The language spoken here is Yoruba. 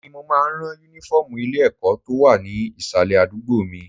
Èmi ni mo máa ń ran Únífọ́ọ̀mù ilé-ẹ̀kọ́ tó wà ní ìsàlẹ̀ àdúgbò mi